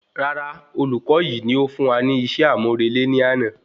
Rárá, olùkọ yìí ní ó fún wa ní iṣẹ́ amurele ní àna